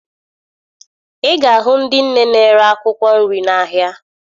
Ị ga-ahụ ndị nne na-ere akwụkwọ nri n'ahịa